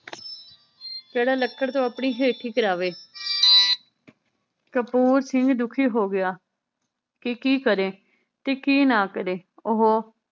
ਕੇਹੜਾ ਲੱਕੜ ਤੋਂ ਆਪਣੀ ਹੇਠੀ ਕਰਾਵੇ ਕਪੂਰ ਸਿੰਘ ਦੁਖੀ ਹੋਗਿਆ ਕਿ ਕੀ ਕਰੇ ਤੇ ਕੀ ਨਾ ਕਰੇ।